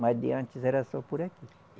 Mas de antes era só por aqui.